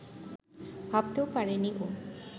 ভাবতেও পারেনি ও